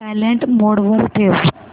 silent mode वर ठेव